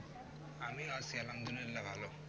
আমি আছি আল্লাহামদুল্লিয়া ভালো